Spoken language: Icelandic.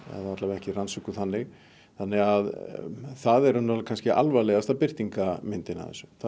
ekki rannsökuð þannig þannig það er í rauninni alvarlegasta birtingarmyndin